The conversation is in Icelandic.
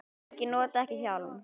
Og margir nota ekki hjálm.